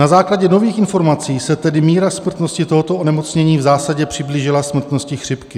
Na základě nových informací se tedy míra smrtnosti tohoto onemocnění v zásadě přiblížila smrtnosti chřipky.